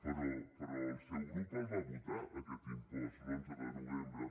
però el seu grup el va votar aquest impost l’onze de novembre